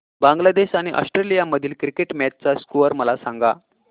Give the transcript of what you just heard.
बांगलादेश आणि ऑस्ट्रेलिया मधील cricket match चा स्कोअर मला सांगा